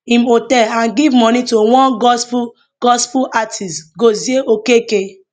im hotel and give money to one gospel gospel artist gozie okeke